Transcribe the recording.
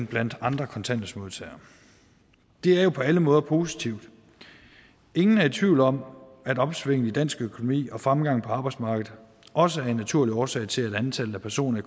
blandt andre kontanthjælpsmodtagere det er jo på alle måder positivt ingen er i tvivl om at opsvinget i dansk økonomi og fremgangen på arbejdsmarkedet også er en naturlig årsag til at antallet af personer i